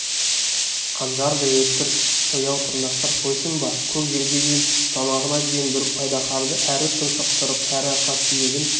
қанжардай өткір сояу тырнақтар қойсын ба көк желкеден түсіп тамағына дейін бүріп айдаһарды әрі тұншықтырып әрі арқа сүйегін